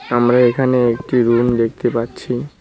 আমরা এখানে একটি রুম দেখতে পাচ্ছি।